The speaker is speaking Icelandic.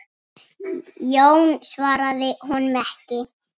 Jón svaraði honum ekki.